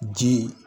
Ji